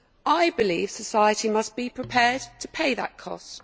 I believe society must be prepared to pay that cost.